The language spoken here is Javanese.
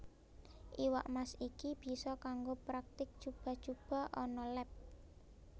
Iwak Mas iki bisa kanggo praktik cuba cuba ana leb